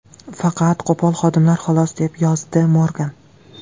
Faqat qo‘pol xodimlar, xolos”, deb yozdi Morgan.